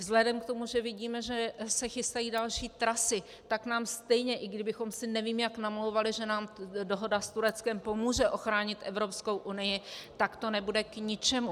Vzhledem k tomu, že vidíme, že se chystají další trasy, tak nám stejně, i kdybychom si nevím jak namlouvali, že nám dohoda s Tureckem pomůže ochránit Evropskou unii, tak to nebude k ničemu.